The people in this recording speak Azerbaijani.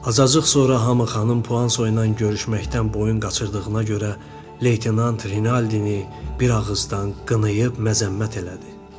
Azacıq sonra hamı xanım Puan Soynan görüşməkdən boyun qaçırdığına görə leytenant Rinaldini bir ağızdan qınayıb məzəmmət elədi.